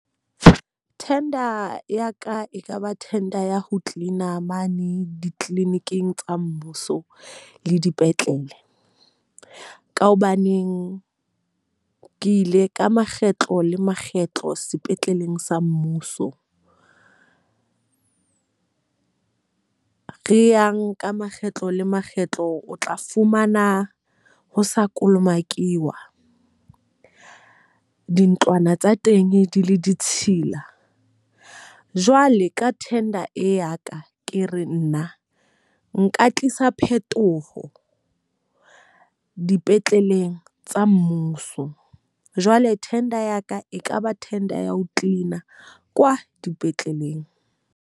Tender ya ka e ka ba tender ya ho clean-a mane di-clinic-ing tsa mmuso le dipetlele. Ka hobaneng ke ile ka makgetlo le makgetlo sepetleleng sa mmuso re yang ka makgetlo le makgetlo, o tla fumana ho sa kolomakuwa. Dintlwana tsa teng di le ditshila. Jwale ka tender e ya ka, ke re nna nka tlisa phetoho ho dipetleleng tsa mmuso. Jwale tender ya ka e ka ba tender ya ho clean-a kwa dipetleleng.